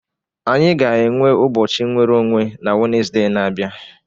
Anyị ga-enwe ụbọchị nwere onwe na Wenezde na-abịa.